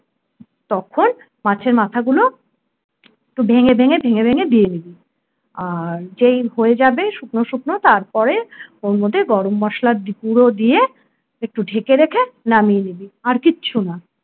তখন মাছের মাথাগুলো ভেঙে ভেঙে ভেঙে ভেঙে দিয়ে দিবি আর যেই হয়ে যাবে শুকনো শুকনো তারপরে ওর মধ্যে গরম মসলা গুঁড়ো দিয়ে একটু ঢেকে রেখে নামিয়ে নিবি। আর কিচ্ছু না